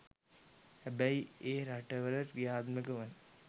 හැබැයි ඒ රටවල ක්‍රියාත්මක වන